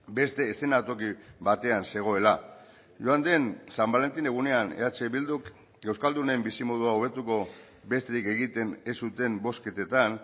beste eszenatoki batean zegoela joan den san balentin egunean eh bilduk euskaldunen bizimodua hobetuko besterik egiten ez zuten bozketetan